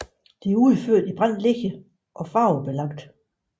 De er udført i brændt ler og farvelagte